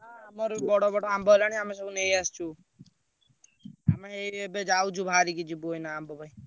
ହଁ ଆମର ବି ବଡ ବଡ ଆମ୍ବ ହେଲାଣି ଆମେ ସବୁ ନେଇଆସୁଛୁ। ଆମେ ଏଇ ଏବେ ଯାଉଛୁ ବାହାରିକି ଯିବୁ ଏଇନା ଆମ୍ବ ପାଇଁ।